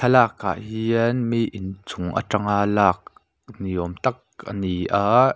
lakah hian mi inchung aṭanga lâk ni awm tak ani a.